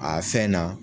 A fɛn na